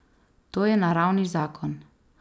To je naravni zakon.